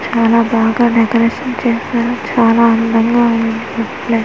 చాన బాగా డెకరేషన్ చేశారు చాలా అందంగా ఉంది ఈ ప్లేస్ .